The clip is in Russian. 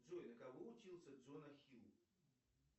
джой на кого учился джон ахилл